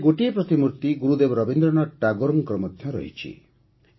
ଏଥିରେ ଗୋଟିଏ ପ୍ରତିମୂର୍ତ୍ତି ଗୁରୁଦେବ ରବୀନ୍ଦ୍ରନାଥ ଟାଗୋର ଜୀଙ୍କର ମଧ୍ୟ ରହିଛି